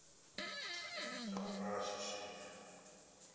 tsha u vala tsho swika